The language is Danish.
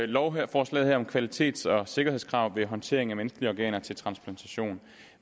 lovforslaget her om kvalitets og sikkerhedskrav ved håndtering af menneskelige organer til transplantation